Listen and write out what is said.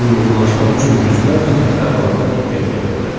Uyğunlaşmaq üçün yüzlərlə təfərrüata diqqət yetirdim.